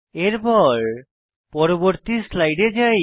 এরপর পরবর্তী স্লাইডে যাই